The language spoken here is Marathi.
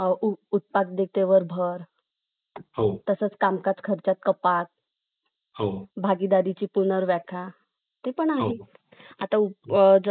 श्रेय चंद्रगुप्त मौर्य आणि आणि त्यांचं मंत्री कौटल्य याना जाते त्यांनी नंदराज्य वंशाची स्थापना केली